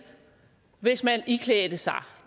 hvis man iklædte sig